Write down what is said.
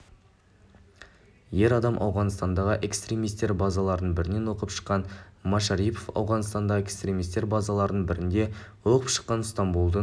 ер адам ауғанстандағы экстремистер базаларының бірінен оқып шыққан машарипов ауғанстандағы экстремистер базаларының бірінде оқып шыққан стамбұлдың